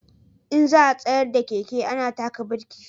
In za a tsayar da keke ana taka birki